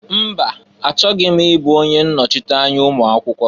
Mba! Achọghị m ịbụ onye nnochianya ụmụakwụkwọ.